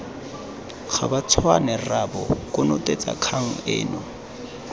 gabatshwane rraabo konotetsa kgang eno